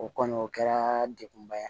O kɔni o kɛra degunba ye